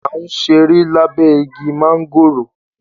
À ǹ sẹ̀rẹ̀ lábé igi màngòró.